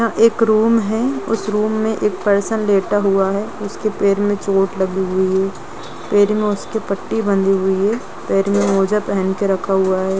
एक रूम है उस रूम में एक पर्सन बैठा हुआ है उसके पैर में चोट लगी हुई है पैर में उसकी पट्टी बंधी हुई है पैर में मौजा पहन के रखा हुआ है।